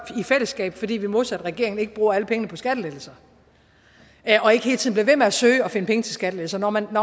i fællesskab fordi vi modsat regeringen ikke bruger alle pengene på skattelettelser og ikke hele tiden at søge at finde penge til skattelettelser når man